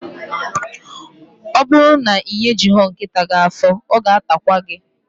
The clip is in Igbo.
Ọ bụrụ na ị nyejughi nkịta gị afọ, ọ ga-atakwa gị